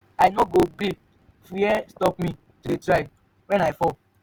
i no go gree fear stop me to dey try wen i fall.